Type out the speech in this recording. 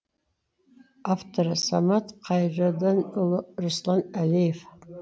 авторы самат қайырденұлы руслан әлиев